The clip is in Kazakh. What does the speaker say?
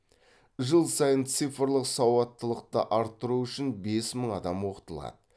жыл сайын цифрлық сауаттылықты арттыру үшін бес мың адам оқытылады